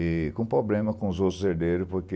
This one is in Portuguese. E com problema com os outros herdeiros, porque...